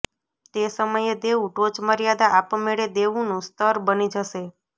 તે સમયે દેવું ટોચમર્યાદા આપમેળે દેવુંનું સ્તર બની જશે